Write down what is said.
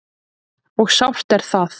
Og sárt er það.